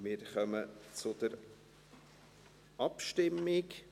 Wir kommen zur Abstimmung.